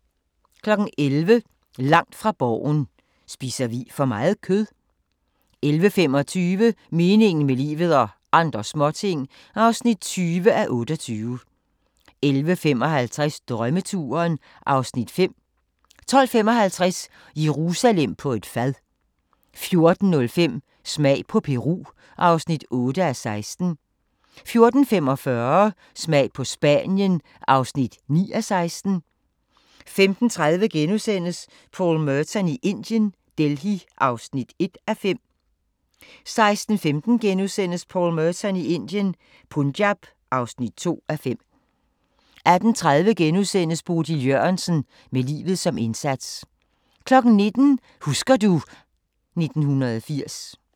11:00: Langt fra Borgen: Spiser vi for meget kød? 11:25: Meningen med livet – og andre småting (20:28) 11:55: Drømmeturen (Afs. 5) 12:55: Jerusalem på et fad 14:05: Smag på Peru (8:16) 14:45: Smag på Spanien (9:16) 15:30: Paul Merton i Indien - Delhi (1:5)* 16:15: Paul Merton i Indien - Punjab (2:5)* 18:30: Bodil Jørgensen – med livet som indsats * 19:00: Husker du ... 1980